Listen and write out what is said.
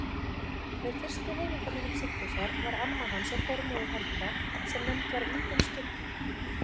Með fyrstu heimildarmönnum Sigfúsar var amma hans og formóðir Helga sem nefnd var Ingunn skyggna.